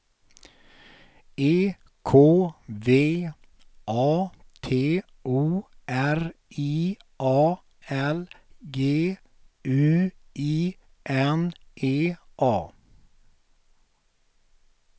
E K V A T O R I A L G U I N E A